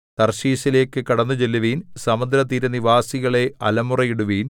തർശീശിലേക്കു കടന്നുചെല്ലുവിൻ സമുദ്രതീരനിവാസികളേ അലമുറയിടുവിൻ